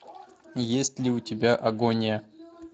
есть ли у тебя агония